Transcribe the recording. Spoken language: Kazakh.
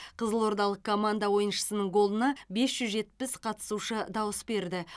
қызылордалық команда ойыншысының голына бес жүз жетпіс қатысушы дауыс берді